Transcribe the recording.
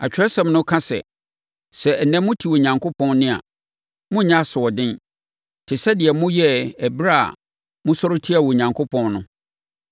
Atwerɛsɛm no ka sɛ, “Sɛ ɛnnɛ mote Onyankopɔn nne a, monnyɛ asoɔden te sɛ deɛ moyɛɛ ɛberɛ a mosɔre tiaa Onyankopɔn no.”